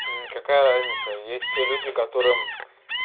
какая разница есть те люди которые